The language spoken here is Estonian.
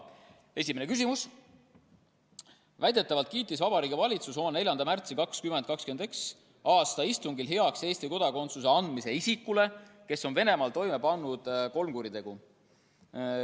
Esimene küsimus: "Väidetavalt kiitis Vabariigi Valitsus oma 4. märtsi 2021. aasta istungil heaks Eesti kodakondsuse andmise isikule, kes on Venemaal pannud toime kolm kuritegu.